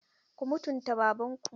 Ku mutunta Babanku!